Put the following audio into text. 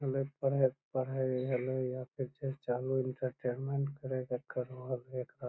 ऐले पढ़े पढ़े ले एले ये एंटरटेनमेंट --